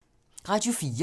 Radio 4